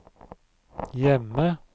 hjemme